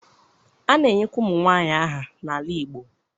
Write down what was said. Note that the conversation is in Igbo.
a na-enyekwa ụmụnwaanyị aha n'ala Igbo.